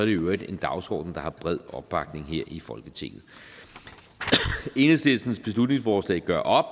i øvrigt en dagsorden der har bred opbakning her i folketinget enhedslistens beslutningsforslag gør op